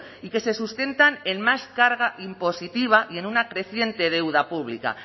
y que se sustentan en más carga impositiva y en una creciente deuda pública